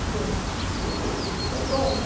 Porque é dom, né?